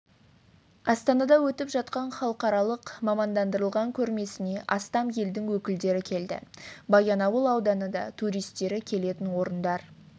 астанада өтіп жатқан халықаралық мамандандырылған көрмесіне астам елдің өкілдері келді баянауыл ауданы да туристері келетін орындар